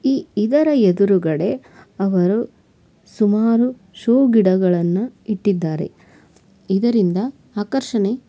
ಈ ಇದರ ಎದುರಗಡೆ ಅವರು ಸುಮಾರು ಶೋ ಗಿಡಗಳನು ಇಟ್ಟಿದ್ದಾರೆ ಇದರಿಂದಾ ಆಕರ್ಷಣೆ.--